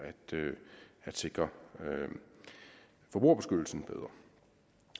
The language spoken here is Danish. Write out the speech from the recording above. at sikre forbrugerbeskyttelsen bedre